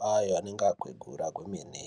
vanenge vagwegura kwemene.